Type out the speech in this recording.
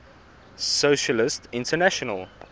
socialist international